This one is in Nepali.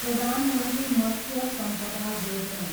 प्रधान मन्त्री मत्स्य सम्पदा योजना